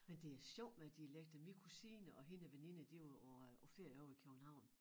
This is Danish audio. Men det er sjovt med dialekter min kusine og hendes veninde de var på ferie ovre i København